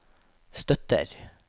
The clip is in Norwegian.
støtter